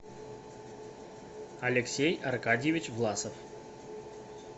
алексей аркадьевич власов